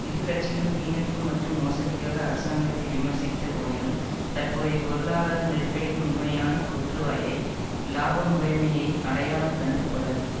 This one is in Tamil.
இரு கட்சிகளும் வீணடிப்பு மற்றும் மோசடிக்காக அரசாங்கத்தை விமர்சித்த போதிலும் தற்போதைய பொருளாதார நெருக்கடியின் உண்மையான தோற்றுவாயை இலாப முறைமையை அடையாளங் கண்டுகொள்ளவில்லை